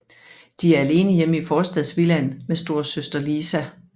De er alene hjemme i forstadsvillaen med storesøster Lisa